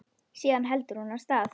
Síðan heldur hún af stað.